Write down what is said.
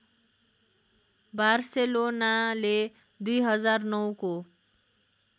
बार्सेलोनाले २००९ को